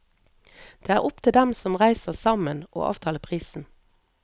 Det er opp til dem som reiser sammen å avtale prisen.